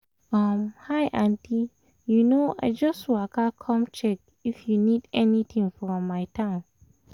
um hi auntie um i just waka come check if you need anything from town